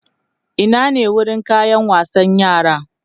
Ina ne wurin kayan wasan yara?